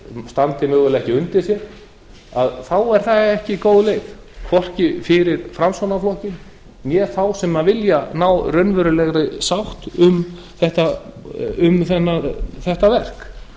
standi mögulega ekki undir sér þá er það ekki góð leik hvorki fyrir framsóknarflokkinn né þá sem vilja ná raunverulegri sátt um þetta verk